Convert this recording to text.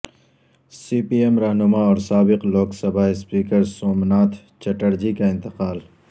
سی P M رہنما اور سابق لوک سبھا اسپیکر سومناتھ چٹرجی کا نتقال